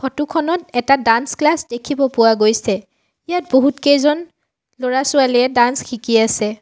Photo খনত এটা dance class দেখিব পোৱা গৈছে ইয়াত বহুতকেইজন ল'ৰা-ছোৱালীয়ে ডান্স শিকি আছে।